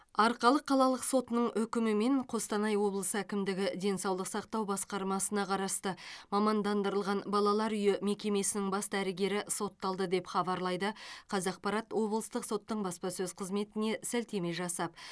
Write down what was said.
арқалық қалалық сотының үкімімен қостанай облысы әкімдігі денсаулық сақтау басқармасына қарасты мамандандырылған балалар үйі мекемесінің бас дәрігері сотталды деп хабарлайды қазақпарат облыстық соттың баспасөз қызметіне сілтеме жасап